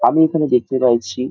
আমি এখানে দেখতে পাইছি --